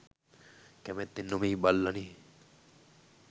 කැමැත්තෙන් නෙමෙයි බල්ලනේ.